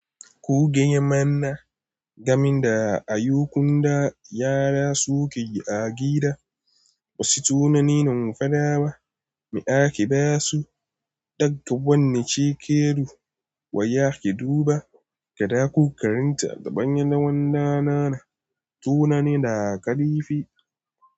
Ku gaya mana, gamin da a yukunda yara suke a gida, wasu tunanin faɗa ba. Me ake basu? Ɗaga wannan cike du, wa ya ke duba? Kaɗa ku karanta a gaban ɗawon ɗanana, tunani da ƙarifi.